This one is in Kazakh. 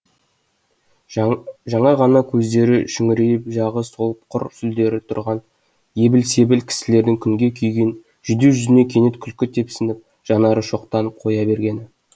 жаңа ғана көздері шүңірейіп жағы солып құр сүлдері тұрған ебіл себіл кісілердің күнге күйген жүдеу жүзіне кенет күлкі тепсініп жанары шоқтанып қоя бергені